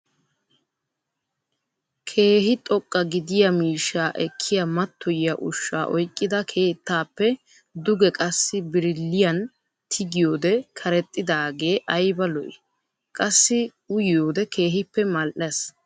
Keehi xoqqa gidiyaa miishshaa ekkiyaa mattoyiyaa ushshaa oyqqida keettaappe duge qassi biriliyaan tigiyoode karexxidaagee ayba lo"ii! qassi uyiyode keehippe mal"ees.